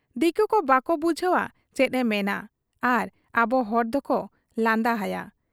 ᱫᱤᱠᱩᱠᱚ ᱵᱟᱠᱚ ᱵᱩᱡᱷᱟᱹᱣ ᱟ ᱪᱮᱫ ᱮ ᱢᱮᱱᱮᱜ ᱟ ᱟᱨ ᱟᱵᱚ ᱦᱚᱲ ᱫᱚᱠᱚ ᱞᱟᱸᱫᱟ ᱦᱟᱭᱟ ᱾